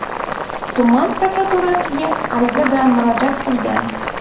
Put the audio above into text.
tuman prokuraturasiga ariza bilan murojaat qilgan.